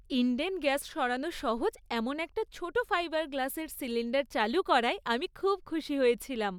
Indane gas সরানো সহজ এমন একটা ছোট ফাইবার গ্লাসের সিলিণ্ডার চালু করায় আমি খুব খুশি হয়েছিলাম।